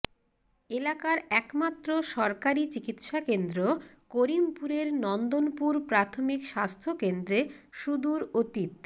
এলাকার একমাত্র সরকারি চিকিৎসাকেন্দ্র করিমপুরের নন্দনপুর প্রাথমিক স্বাস্থ্যকেন্দ্রে সুদূর অতীত